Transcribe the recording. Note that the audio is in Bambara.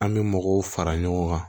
An bɛ mɔgɔw fara ɲɔgɔn kan